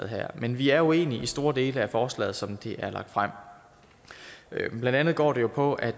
her men vi er uenige i store dele af forslaget som det er lagt frem blandt andet går det jo på at